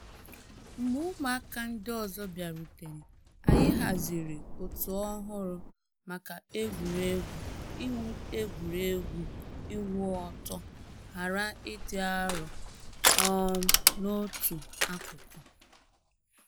Mgbe ụmụaka ndi ọzọ bịarutere, anyị haziri òtù ọhụrụ maka egwuregwu iwu egwuregwu iwu ọtọ ghara ịdị arọ um n’otu akụkụ.